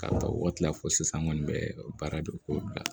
K'a ta o waati la fo sisan n kɔni bɛ baara dɔn k'o bila